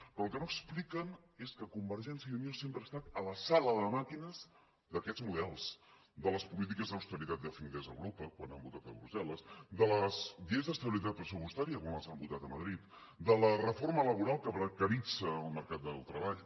però el que no expliquen és que convergència i unió sempre ha estat a la sala de màquines d’aquests models de les polítiques d’austeritat que es feien des d’europa quan han votat a brussel·les de les lleis d’estabilitat pressupostària quan les han votat a madrid de la reforma laboral que precaritza el mercat de treball